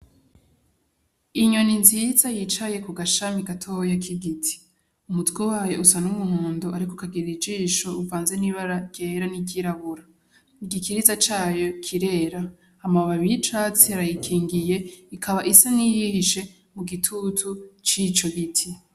Inyoni nziza yicaye ku gashami gatoya k'igiti . Umutwe wayo usa n'umuhondo ariko ikagir'ijisho ivanze n'ibara ryera n'ivyirabura , igikiriza cayo kirera , amababi y'icatsi arayikingiye ikaba isa n'iyihishe mu gitutu cico gute.